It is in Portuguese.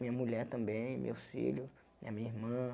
Minha mulher também, meus filhos, a minha irmã.